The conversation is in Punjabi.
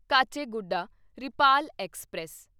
ਕਾਚੇਗੁਡਾ ਰਿਪਾਲ ਐਕਸਪ੍ਰੈਸ